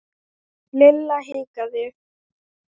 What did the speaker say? Lilla hikaði.